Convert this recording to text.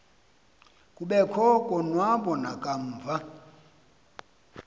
kobekho konwaba nakamva